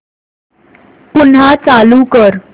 पुन्हा चालू कर